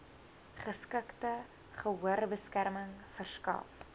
geskikte gehoorbeskerming verskaf